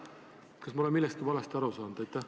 Kas ma olen millestki valesti aru saanud?